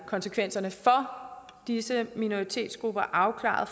konsekvenserne for disse minoritetsgrupper afklaret